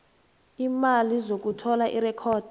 iimali zokuthola irekhodi